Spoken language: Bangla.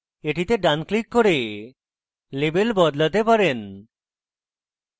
আপনি এটিতে ডান ক্লিক করে label বদলাতে পারেন